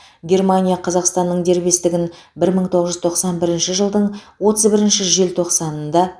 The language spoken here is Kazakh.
германия қазақстанның дербестігін бір мың тоғыз жүз тоқсан бірінші жылдың отыз бірінші желтоқсанында